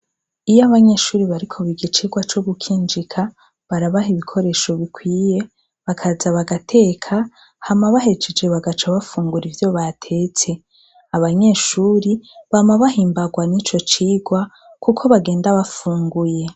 Iyo abanyeshure bariko biga icirwa co gukinjika barabaha ibikoresho bikwiye bakaza bagateka hama bahejeje bakaca bafungura ivyo batetse abanyeshure bama bahimbarwa nico cirwa kuko bagenda bafunguye